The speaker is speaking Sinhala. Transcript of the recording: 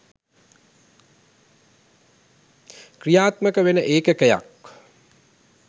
ක්‍රියාත්මක වෙන ඒකකයක්